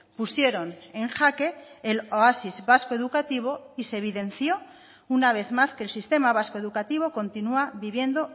pusieron en jaque el oasis vasco educativo y se evidenció una vez más que el sistema vasco educativo continúa viviendo